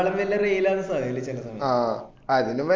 ഈനാക്കളും വല്യ reel ആണ് സഹല് ചെല സമയത്